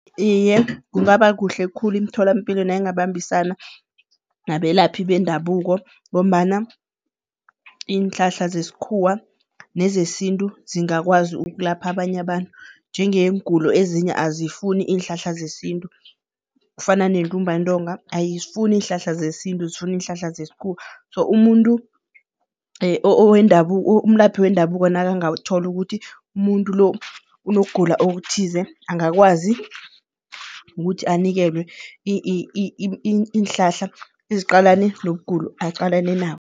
Iye, kungaba kuhle khulu imtholampilo nayingabambisana nabelaphi bendabuko ngombana iinhlahla zesikhuwa nezesintu zingakwazi ukulapha abanye abantu njengeengulo ezinye azifuni iinhlahla zesintu. Kufana nentumbantonga ayifuni iinhlahla zesintu zifuna iinhlahla zesikhuwa, so umuntu umlaphi wendabuko nakangawuthola ukuthi muntu lo unokugula okuthize, angakwazi ukuthi anikelwe iinhlahla eziqalane nokugulo aqalane nabo.